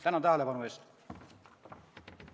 " Tänan tähelepanu eest!